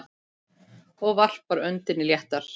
Og varpar öndinni léttar.